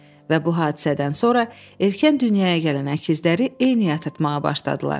Və bu hadisədən sonra erkən dünyaya gələn əkizləri eyni yatırtmağa başladılar.